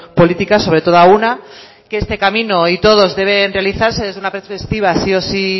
política sobre todo a una que este camino y todos deben realizarse desde una perspectiva sí o sí